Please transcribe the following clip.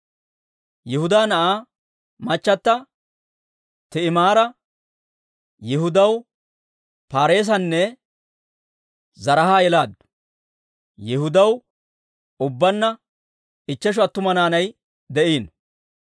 Yihudaa na'aa machchata Ti'imaara Yihudaw Paareesanne Zaraaha yelaaddu. Yihudaw ubbaanna ichcheshu attuma naanay de'iino.